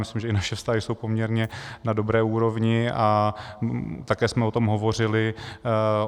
Myslím, že i naše vztahy jsou poměrně na dobré úrovni, a také jsme o tom hovořili.